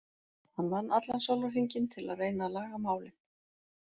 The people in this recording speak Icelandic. Hann vann allan sólarhringinn til að reyna að laga málin.